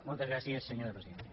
moltes gràcies senyora presidenta